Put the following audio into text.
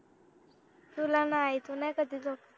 तुला नाही तू नाही कधी झोपत